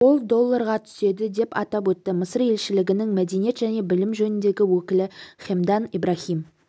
ол долларға түседі деп атап өтті мысыр елшілігінің мәдениет және білім жөніндегі өкілі хемдан ибрахим